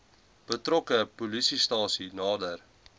betrokke polisiestasie nader